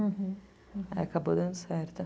Aí acabou dando certo.